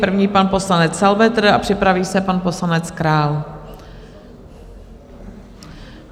První pan poslanec Salvetr a připraví se pan poslanec Král.